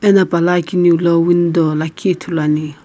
ena pala akeneu lo lakhi window ithulu ane.